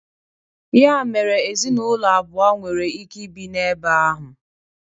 Ya mere ezinụlọ abụọ nwere ike ibi na-ebe ahụ.